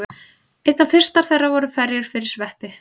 Einna fyrstar þeirra voru ferjur fyrir sveppi.